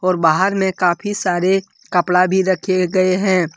और बाहर में काफी सारे कपड़ा भी रखे गए हैं।